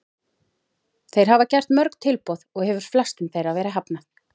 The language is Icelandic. Þeir hafa gert mörg tilboð og hefur flestum þeirra verið hafnað.